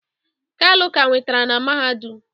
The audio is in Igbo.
kalu ka enwetara na mahadum